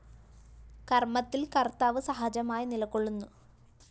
കര്‍മ്മത്തില്‍ കര്‍ത്താവ് സഹജമായി നിലകൊള്ളുന്നു